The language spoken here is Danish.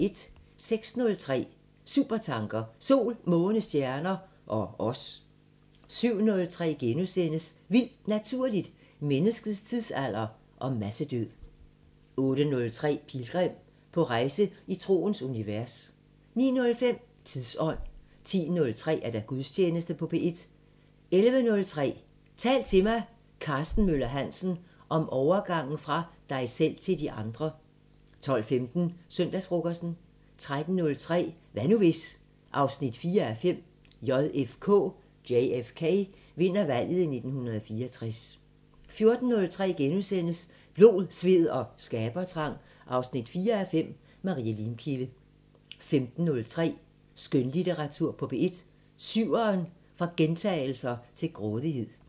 06:03: Supertanker: Sol, måne, stjerner ... og os 07:03: Vildt Naturligt: Menneskets tidsalder og massedød * 08:03: Pilgrim – på rejse i troens univers 09:05: Tidsånd 10:03: Gudstjeneste på P1 11:03: Tal til mig – Karsten Møller Hansen: Om overgangen fra dig selv til de andre 12:15: Søndagsfrokosten 13:03: Hvad nu hvis...? 4:5 – JFK vinder valget i 1964 14:03: Blod, sved og skabertrang 4:5 – Marie Limkilde * 15:03: Skønlitteratur på P1: Syveren: fra gentagelser til grådighed